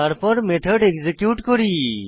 তারপর method execute করি